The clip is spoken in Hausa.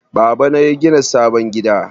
Baba na yagina sabon gida.